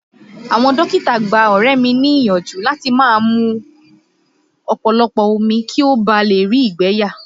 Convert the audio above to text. Àwọn dókítà gbá ọ̀rẹ́ mi ni ìyànjú láti máa mú ọ̀pọ̀lọpọ̀ omi kí ó bá rí ìgbẹ́ yà.